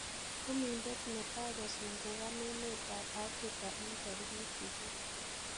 Chumindet netai kosungukan emet a Afrika en tarikit sisit